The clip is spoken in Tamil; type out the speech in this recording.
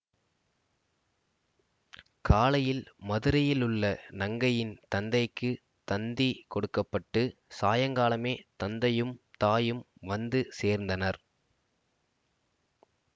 காலையில் மதுரையிலுள்ள நங்கையின் தந்தைக்குத் தந்தி கொடுக்க பட்டு சாயங்காலமே தந்தையும் தாயும் வந்து சேர்ந்தனர்